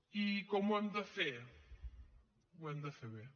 i com ho hem de fer ho hem de fer bé